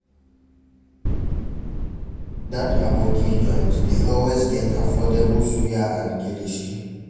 Dat Aboki joint dey always get affordable suya and kilishi.